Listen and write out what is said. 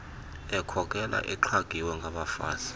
ekhokela exhagiwe ngabafazi